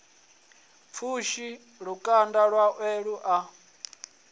pfushi lukanda lwawe lu a